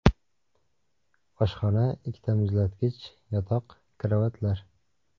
Oshxona, ikkita muzlatgich, yotoq, karavotlar.